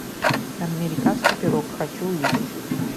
американский пирог хочу увидеть